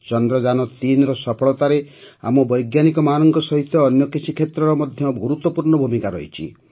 ଚନ୍ଦ୍ରଯାନ୩ର ସଫଳତାରେ ଆମ ବୈଜ୍ଞାନିକମାନଙ୍କ ସହିତ ଅନ୍ୟ କିଛି କ୍ଷେତ୍ରର ମଧ୍ୟ ଗୁରୁତ୍ୱପୂର୍ଣ୍ଣ ଭୂମିକା ରହିଛି